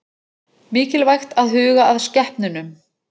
Mikilvægt að huga að skepnunum